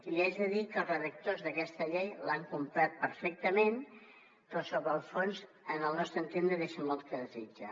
i li haig de dir que els redactors d’aquesta llei l’han complert perfectament però sobre el fons al nostre entendre deixa molt a desitjar